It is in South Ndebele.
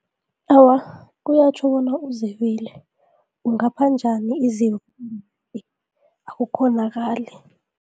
Awa, kuyatjho bona uzebile, ungapha njani akukghonakali.